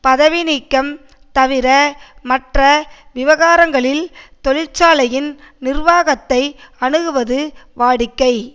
பதவி நீக்கம் தவிர மற்ற விவகாரங்களில் தொழிற்சாலையின் நிர்வாகத்தை அணுகுவது வாடிக்கை